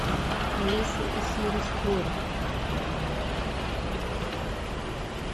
алиса и сири спорят